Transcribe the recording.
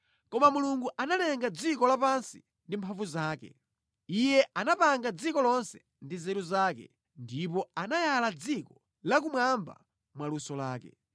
Koma Mulungu analenga dziko lapansi ndi mphamvu zake; Iye anapanga dziko lonse ndi nzeru zake ndipo anayala thambo mwaluso lake.